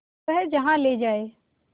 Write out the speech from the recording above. वह जहाँ ले जाए